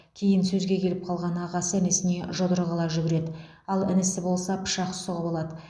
кейін сөзге келіп қалған ағасы інісіне жұдырық ала жүгіреді ал інісі болса пышақ сұғып алады